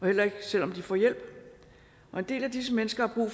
heller ikke selv om de får hjælp og en del af disse mennesker har